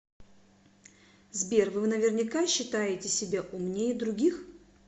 сбер вы наверняка считаете себя умнее других